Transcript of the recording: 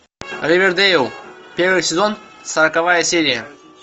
ривердейл первый сезон сороковая серия